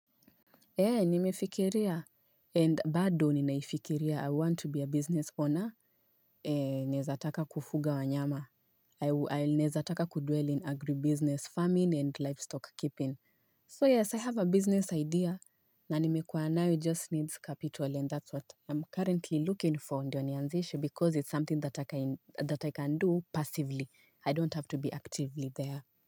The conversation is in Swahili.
Nimefikiria and bado ninaifikiria i want to be a business owner naezataka kufuga wanyama i'll naezataka kudwell in agribusiness farming and livestock keeping so yes i have a business idea na nimekua now it just needs capital and that's what i'm currently looking for ndio nianzishi because it's something that i can do passively i don't have to be actively there.